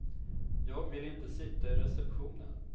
Jag vill inte sitta i receptionen.